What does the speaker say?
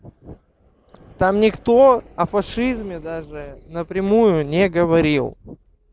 там никто о фашизме даже напрямую не говорил